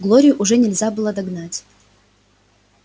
глорию уже нельзя было догнать